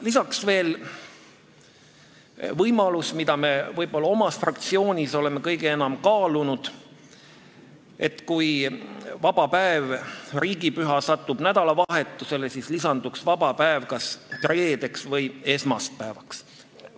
Lisaks on veel see võimalus, mida me oma fraktsioonis oleme kõige enam kaalunud, et kui vaba päev, riigipüha, satub nädalavahetusele, siis oleks vaba päev kas reedel või esmaspäeval.